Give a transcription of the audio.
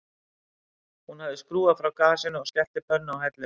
Hún hafði skrúfað frá gasinu og skellt pönnu á helluna